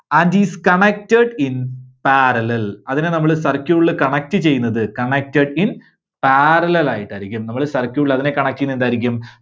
and is connected in parallel. അതിനെ നമ്മള് circuit ല് connect ചെയ്യുന്നത്, connected in parallel ആയിട്ടായിരിക്കും. നമ്മള് circuit ൽ അതിനെ connect ചെയ്യുന്നത് എന്തായിരിക്കും?